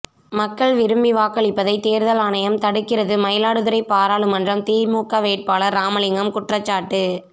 மக்கள் விரும்பி வாக்களிப்பதை தேர்தல் ஆணையம் தடுக்கிறது மயிலாடுதுறை பாராளுமன்ற திமுக வேட்பாளர் ராமலிங்கம் குற்றச்சாட்டு